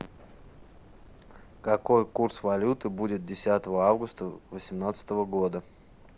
какой курс валюты будет десятого августа восемнадцатого года